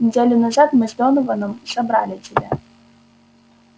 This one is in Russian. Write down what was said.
неделю назад мы с донованом собрали тебя